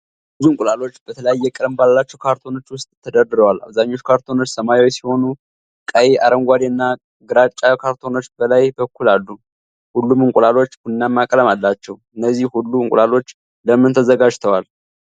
ብዙ እንቁላሎች በተለያየ ቀለም ባላቸው ካርቶኖች ውስጥ ተደርድረዋል። አብዛኞቹ ካርቶኖች ሰማያዊ ሲሆኑ ቀይ፣ አረንጓዴ እና ግራጫ ካርቶኖችም በላይ በኩል አሉ። ሁሉም እንቁላሎች ቡናማ ቀለም አላቸው። እነዚህ ሁሉ እንቁላሎች ለምን ተዘጋጅተዋል?